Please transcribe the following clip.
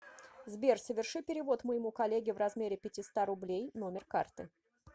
сбер соверши перевод моему коллеге в размере пятиста рублей номер карты